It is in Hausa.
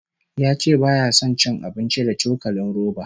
Ya ce baya son cin abinci da cokalin roba